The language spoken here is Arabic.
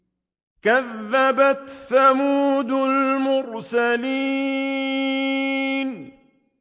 كَذَّبَتْ ثَمُودُ الْمُرْسَلِينَ